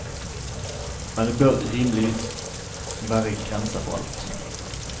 Men det bør rimeligvis være grenser for alt.